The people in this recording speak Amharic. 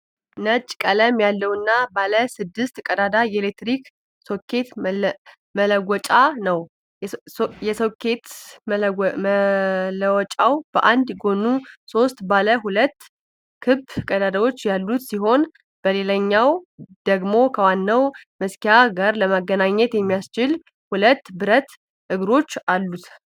ነጭ ቀለም ያለውና ባለ ስድስት ቀዳዳ የኤሌክትሪክ ሶኬት መለወጫ ነው። የሶኬት መለወጫው በአንድ ጎኑ ሶስት ባለ ሁለት ክብ ቀዳዳዎች ያሉት ሲሆን፣ በሌላኛው ደግሞ ከዋናው መሰኪያ ጋር ለመገናኘት የሚያስችል ሁለት ብረት እግሮች አሉት።